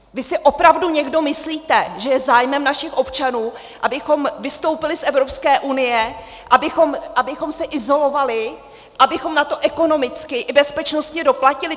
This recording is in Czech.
Vy si opravdu někdo myslíte, že je zájmem našich občanů, abychom vystoupili z Evropské unie, abychom se izolovali, abychom na to ekonomicky i bezpečnostně doplatili?